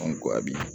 An ko a bi